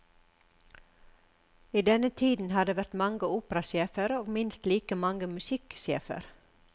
I denne tiden har det vært mange operasjefer og minst like mange musikksjefer.